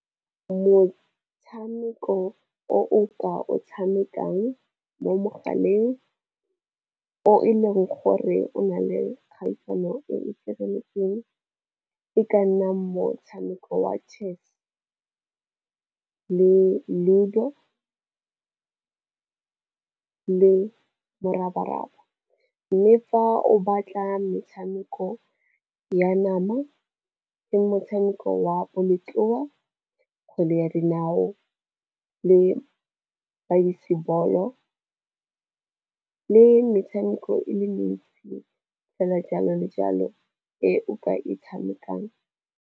Motshameko o o ka o tshamekang mo mogaleng o e leng gore o na le kgaisano e sireletseng, e ka nna motshameko wa chess, le ludo, le morabaraba. Mme fa o batla metshameko ya nama, ke motshameko wa bolotloa, kgwele ya dinao, le baseball-o le metshameko e le mentsi fela jalo le jalo eo ka e tshamekang.